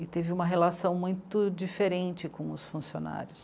E teve uma relação muito diferente com os funcionários.